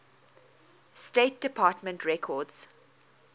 state department records